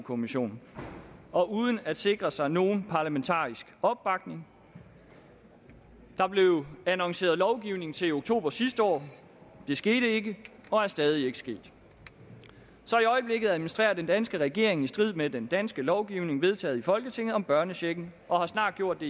kommissionen og uden at sikre sig nogen parlamentarisk opbakning der blev annonceret lovgivning til oktober sidste år det skete ikke og er stadig ikke sket så i øjeblikket administrerer den danske regering i strid med den danske lovgivning vedtaget i folketinget om børnechecken og har snart gjort